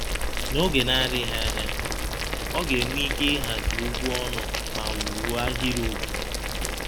N’oge na-adịghị anya, ọ ga-enwe ike ịhazi okwu ọnụ ma wuo ahịrịokwu.